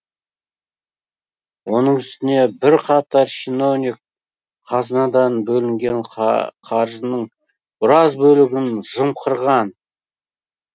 оның үстіне бірқатар шиновник қазынадан бөлінген қаржының біраз бөлігін жымқырған